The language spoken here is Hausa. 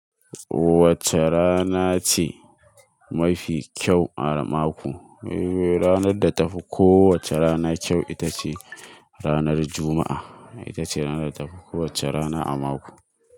Wacce rana ce mafi kyau a mako? Ranar da ta fi kowacce rana kyau ita ce ranar Juma'a. Ita ce rana da ta fi kowacce rana a mako.